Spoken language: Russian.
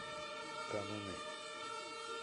кануны